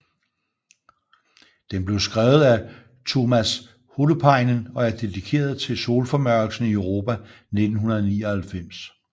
Den blev skrevet af Tuomas Holopainen og er dedikeret til solformørkelsen i Europa i 1999